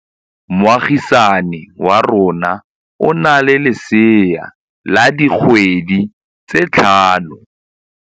Moagisane wa rona o na le lesea la dikgwedi tse tlhano.